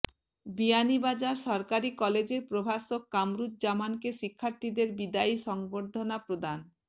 বিয়ানীবাজার সরকারি কলেজের প্রভাষক কামরুজ্জামানকে শিক্ষার্থীদের বিদায়ী সংর্বধনা প্রদান